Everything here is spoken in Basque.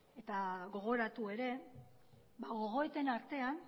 eta gogoratu ere gogoeten artean